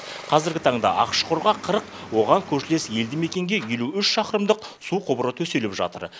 қазіргі таңда ақшұқырға қырық оған көршілес елді мекенге елу үш шақырымдық су құбыры төселіп жатыр